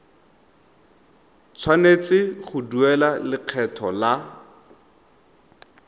tshwanetse go duela lekgetho la